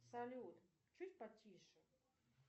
салют чуть потише